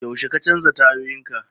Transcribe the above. Yaushe ka canza tayoyinka?